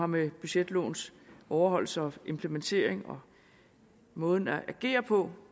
med budgetlovens overholdelse og implementering og måden at agere på